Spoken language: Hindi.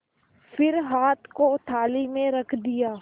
फिर हाथ को थाली में रख दिया